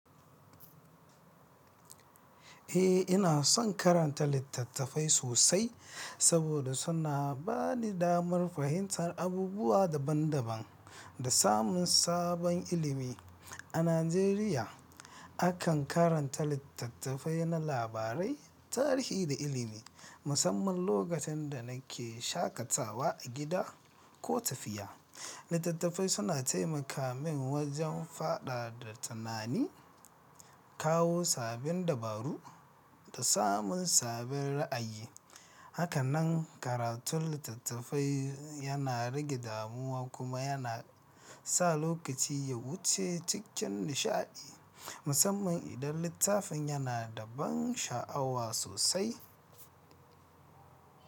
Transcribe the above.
Eh, ina son karanta littattafai sosai saboda suna ba ni damar fahimtar abubuwa daban-daban da samun sabon ilimi. A Najeriya, akan karanta littattafai na labarai, tarihi da ilimi. Musamman lokutan da nake shakatawa a gida ko tafiya. Littattafai suna taimaka min wajen faɗaɗa tunani, kawo sabbin dabaru da samun sabbin ra'ayi. Haka nan karatun littattafai yana rage damuwa kuma yana sa lokaci ya wuce cikin nishaɗi, musamman idan littafin yana da ban sha'awa sosai.